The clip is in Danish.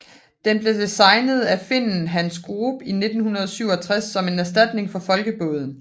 Den blev designet af finnen Hans Groop i 1967 som en erstatning for Folkebåden